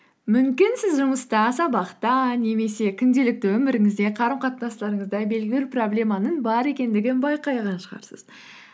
мүмкін сіз жұмыста сабақта немесе күнделікті өміріңізде қарым қатынастарыңызда белгілі бір проблеманың бар екендігін байқаған шығарсыз